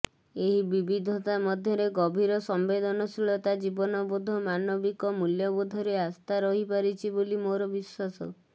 ଏହି ବିବିଧତା ମଧ୍ୟରେ ଗଭୀର ସମ୍ବେଦନଶୀଳତା ଜୀବନବୋଧ ମାନବିକ ମୂଲ୍ୟବୋଧରେ ଆସ୍ଥା ରହିପାରିଚି ବୋଲି ମୋର ବିଶ୍ୱାସ